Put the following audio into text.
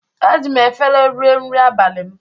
Eji m efere rie nri abalị m.